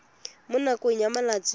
mo nakong ya malatsi a